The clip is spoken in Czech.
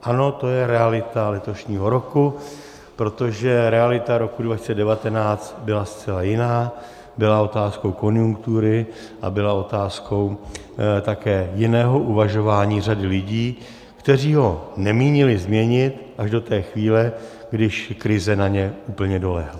Ano, to je realita letošního roku, protože realita roku 2019 byla zcela jiná, byla otázkou konjunktury a byla otázkou také jiného uvažování řady lidí, kteří ho nemínili změnit až do té chvíle, když krize na ně úplně dolehla.